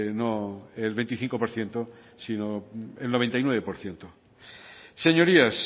no el veinticinco por ciento sino el noventa y nueve por ciento señorías